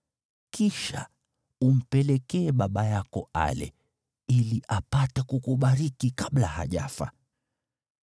Kisha umpelekee baba yako ale, ili apate kukubariki kabla hajafa.”